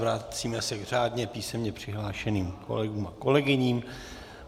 Vracíme se k řádně písemně přihlášeným kolegům a kolegyním.